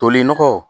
Tolen nɔgɔ